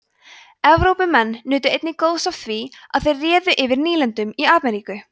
evrópumenn nutu einnig góðs af því að þeir réðu yfir nýlendum í ameríku